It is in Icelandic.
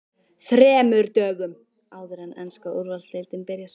ÞREMUR DÖGUM áður en enska Úrvalsdeildin byrjar?